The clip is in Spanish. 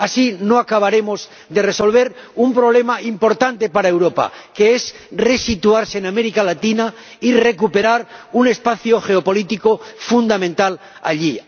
Así no acabaremos de resolver un problema importante para Europa, que es resituarse en América Latina y recuperar un espacio geopolítico fundamental allí.